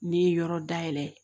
Ne ye yɔrɔ dayɛlɛ